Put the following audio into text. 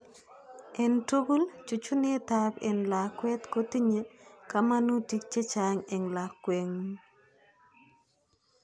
entugul:chuchunetab en lakwet kotinyei kamanutik chechang en lakwetngung